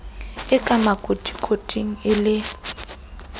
e ka makotikoting le e